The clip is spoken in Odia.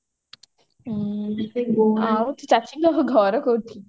ଆଁ ଆଉ ତୋ ଚାଚିଙ୍କ ଘର କୋଉଠି